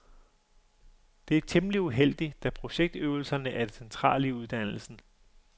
Det er temmelig uheldigt, da projektøvelserne er det centrale i uddannelsen.